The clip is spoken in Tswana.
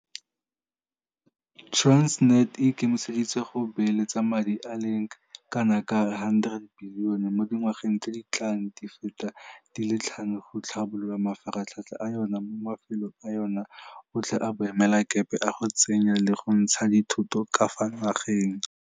Transnet e ikemiseditse go beeletsa madi a le kanaka R100 bilione mo dingwageng tse di tlang di feta di le tlhano go tlhabolola mafaratlhatlha a yona mo mafelong a yona otlhe a boemelakepe a go tsenya le go ntsha dithoto ka fa nageng.